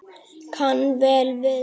Kann vel við sig